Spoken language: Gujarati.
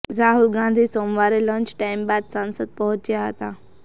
રાહુલ ગાંધી સોમવારે લંચ ટાઈમ બાદ સંસદ પહોંચ્યા હતા